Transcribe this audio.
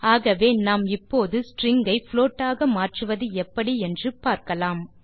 ஆகவே நாம் இப்போது ஸ்ட்ரிங் ஐ புளோட் ஆக மாற்றுவது எப்படி என்று பார்க்கலாம்